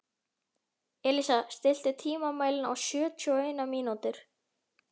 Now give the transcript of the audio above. Elísa, stilltu tímamælinn á sjötíu og eina mínútur.